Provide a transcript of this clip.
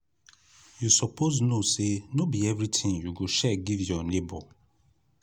you suppose know sey no be everytin you go share give your nebor.